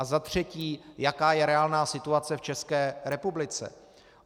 A za třetí - jaká je reálná situace v České republice?